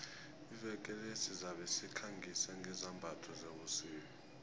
iveke le sizabe sikhangisa ngezambatho zebusika